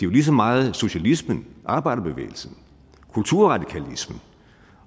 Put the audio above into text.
lige så meget socialismen arbejderbevægelsen kulturradikalismen